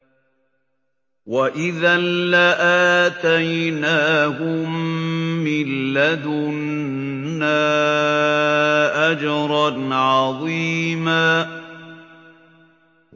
وَإِذًا لَّآتَيْنَاهُم مِّن لَّدُنَّا أَجْرًا عَظِيمًا